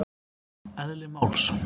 Eðli máls.